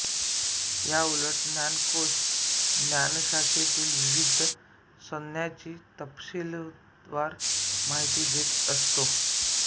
याउलट ज्ञानकोश ज्ञानशाखेतील विविध संज्ञांची तपशीलवार माहिती देत असतो